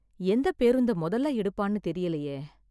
எந்த பேருந்தை மொதல்ல எடுப்பான்னு தெரியலயே...